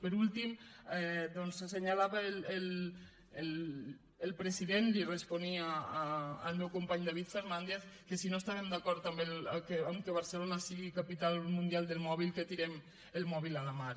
per últim doncs assenyalava el president li responia al meu company david fernàndez que si no estàvem d’acord que barcelona sigui capital mundial del mòbil tirem el mòbil a la mar